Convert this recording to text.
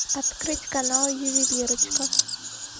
открыть канал ювелирочка